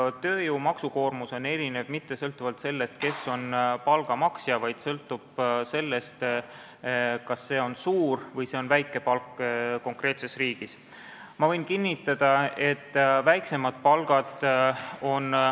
Tööjõu maksukoormus erineb mitte sõltuvalt sellest, kes on palga maksja, vaid see sõltub sellest, kas see palk on konkreetses riigis suur või väike palk.